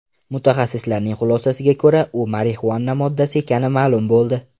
Mutaxassislarning xulosasiga ko‘ra, u marixuana moddasi ekani ma’lum bo‘ldi.